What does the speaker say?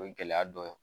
O ye gɛlɛya dɔ ye